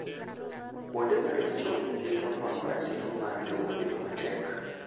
kwonde ma richo keto nuango ratiro mar lowo bedo matek